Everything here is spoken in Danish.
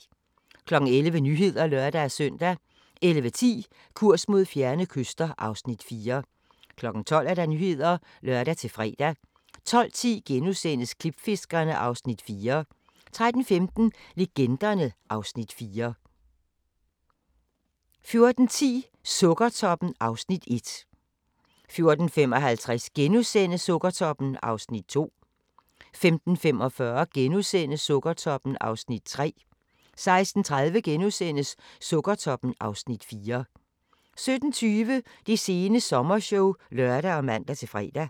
11:00: Nyhederne (lør-søn) 11:10: Kurs mod fjerne kyster (Afs. 4) 12:00: Nyhederne (lør-fre) 12:10: Klipfiskerne (Afs. 4)* 13:15: Legenderne (Afs. 4) 14:10: Sukkertoppen (Afs. 1) 14:55: Sukkertoppen (Afs. 2)* 15:45: Sukkertoppen (Afs. 3)* 16:30: Sukkertoppen (Afs. 4)* 17:20: Det sene sommershow (lør og man-fre)